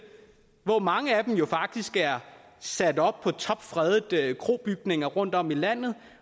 hvoraf mange jo faktisk er sat op på topfredede krobygninger rundtom i landet